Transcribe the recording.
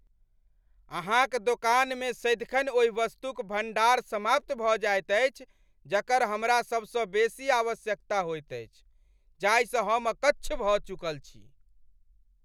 अहाँक दोकानमे सदिखन ओहि वस्तुक भण्डार समाप्त भऽ जाइत अछि जकर हमरा सबसँ बेसी आवश्यकता होयत अछि जाहिसँ हम अकच्छ भऽ चुकल छी।